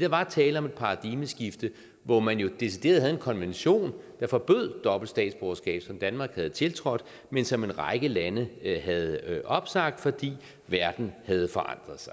der var tale om et paradigmeskifte hvor man jo decideret havde en konvention der forbød dobbelt statsborgerskab og som danmark havde tiltrådt men som en række lande havde opsagt fordi verden havde forandret sig